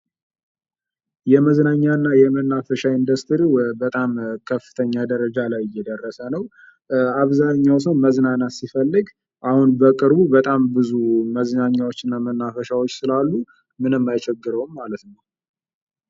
የመዝናኛ እና የመናፈሻ ኢንደስትሪው በጣም ከፍተኛ ደረጃ ላይ እየደረሰ ነው ። አብዛኛው ሰው መዝናናት ሲፈልግ አሁን በቅርቡ በጣም ብዙ መዝናኛዎች እና መናፈሻዎች ስላሉ ምንም አይቸግረውም ማለት ነው ።